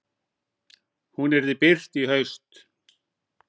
Hún yrði birt í haust.